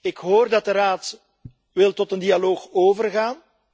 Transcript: Ik hoor dat de Raad tot een dialoog wil overgaan.